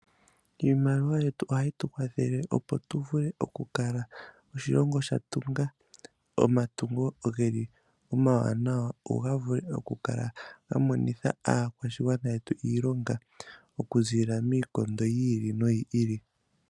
Iimaliwa yetu ohayi tu kwathele opo tu vule okukala oshilongo sha tunga . Omatungo geli omawanawa go ga vule oku kala ga monitha aakwashigwana yetu iilonga oku zilila miikondo yi ili noyi ili.